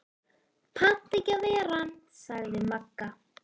Pant ekki ver ann, sagði Magga.